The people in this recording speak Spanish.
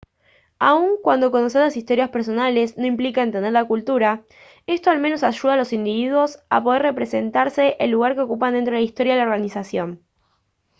aun cuando conocer las historias personales no implica entender la cultura esto al menos ayuda a los individuos a poder representarse el lugar que ocupan dentro de la historia de la organización